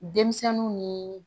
Denmisɛnninw ni